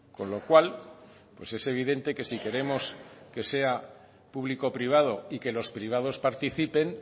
con lo cual pues es evidente que si queremos que sea público privado y que los privados participen